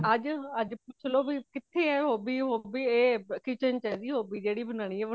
ਤੇ ਅੱਜ ਅਜੇ ਪੁੱਛ ਲੋ ਬਈ ਕਿਥੇ ਹੇ hobby , hobby ਏ kitchen ਚ ਹੇਗੀ ਜੇੜੀ ਬਨਾਨੀ ਹੇ ਬਨਾਲੋ